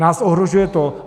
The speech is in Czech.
Nás ohrožuje to...